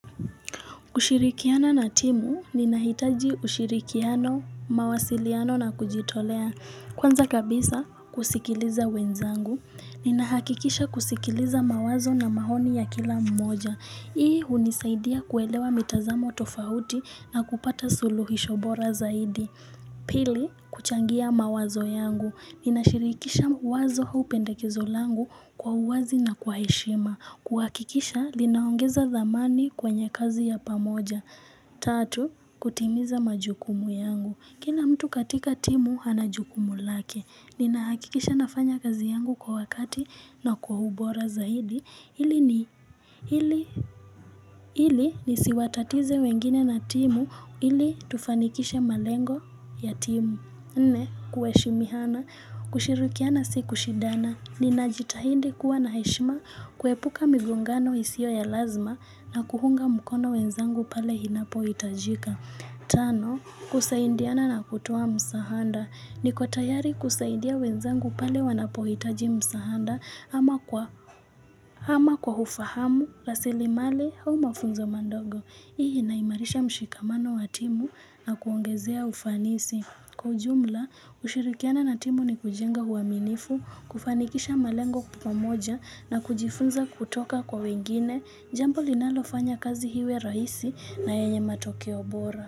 Kushirikiana na timu, ninahitaji ushirikiano, mawasiliano na kujitolea Kwanza kabisa, kusikiliza wenzangu Ninahakikisha kusikiliza mawazo na maoni ya kila mmoja Hii hunisaidia kuelewa mitazamo tofauti na kupata suluhisho bora zaidi Pili, kuchangia mawazo yangu Ninashirikisha wazo au pendekezo langu kwa uwazi na kwa heshima kuhakikisha linaongeza thamani kwenye kazi ya pamoja Tatu, kutimiza majukumu yangu kina mtu katika timu ana jukumu lake Ninahakikisha nafanya kazi yangu kwa wakati na kwa ubora zaidi Ili nisiwatatize wengine na timu Ili tufanikishe malengo ya timu Nne, kuheshimiana, kushirikiana si kushindana Ninajitahidi kuwa na heshima kuepuka migongano isiyo ya lazima na kuunga mkono wenzangu pale inapohitajika. Tano, kusaidiana na kutoa msaada. Niko tayari kusaidia wenzangu pale wanapohitaji msaada ama kwa ufahamu, rasilimali au mafunzo madogo. Hii inaimarisha mshikamano wa timu na kuongezea ufanisi. Kwa ujumla, kushirikiana na timu ni kujenga uaminifu, kufanikisha malengo kwa pamoja na kujifunza kutoka kwa wengine, jambo linalofanya kazi iwe rahisi na yenye matokeo bora.